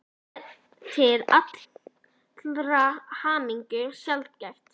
Það er til allrar hamingju sjaldgæft.